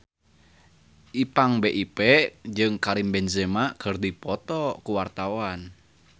Ipank BIP jeung Karim Benzema keur dipoto ku wartawan